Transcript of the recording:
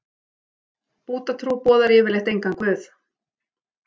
Búddatrú boðar yfirleitt engan guð.